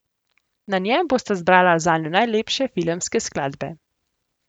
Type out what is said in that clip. Na njem bosta zbrala zanju najlepše filmske skladbe.